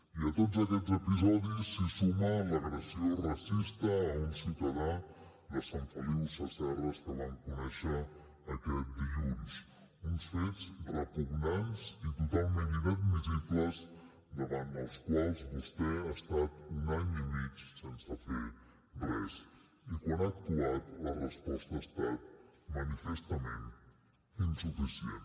i a tots aquests episodis s’hi suma l’agressió racista a un ciutadà de sant feliu sasserra que vam conèixer aquest dilluns uns fets repugnants i totalment inadmissibles davant dels quals vostè ha estat un any i mig sense fer hi res i quan ha actuat la resposta ha estat manifestament insuficient